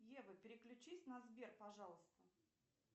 ева переключись на сбер пожалуйста